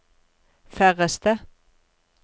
færreste